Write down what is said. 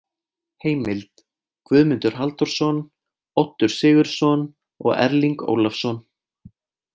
Heimild: Guðmundur Halldórsson, Oddur Sigurðsson og Erling Ólafsson.